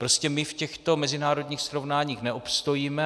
Prostě my v těchto mezinárodních srovnáních neobstojíme.